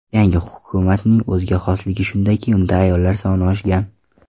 Yangi hukumatning o‘ziga xosligi shundaki, unda ayollar soni oshgan.